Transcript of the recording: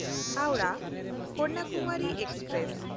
ᱦᱟᱣᱲᱟᱦ–ᱠᱟᱱᱱᱟᱠᱩᱢᱟᱨᱤ express